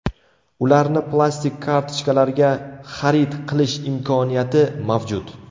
Ularni plastik kartochkalarga xarid qilish imkoniyati mavjud.